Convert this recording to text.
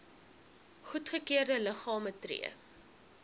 goedgekeurde liggame tree